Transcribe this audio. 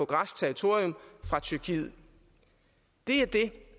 græsk territorium fra tyrkiet det er det